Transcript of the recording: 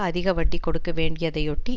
அதிக வட்டி கொடுக்க வேண்டியதையொட்டி